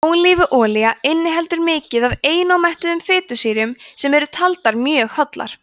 ólífuolía inniheldur mikið af einómettuðum fitusýrum sem eru taldar mjög hollar